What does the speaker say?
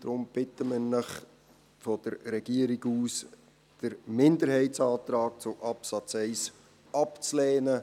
Darum bittet die Regierung Sie, den Minderheitsantrag zum Absatz 1 abzulehnen.